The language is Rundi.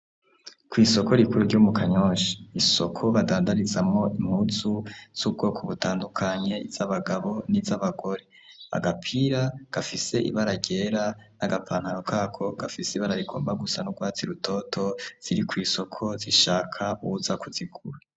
Kw'isoko rikuru ryo mu Kanyosha, isoko badandarizamwo impunzu z'ubwoko butandukanye izabagabo n'izabagore, agapira gafise ibara ryera n'agapantaro kako gafise ibara rigomba gusa n'urwatsi rutoto ziri kw'isoko zishaka uwuza kuzigura.